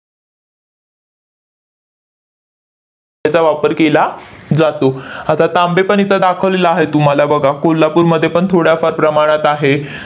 त्याचा वापर केला जातो. आता तांबेपण इथं दाखवलेलं आहे तुम्हाला बघा, कोल्हापूरमध्येपण थोड्याफार प्रमाणात आहे.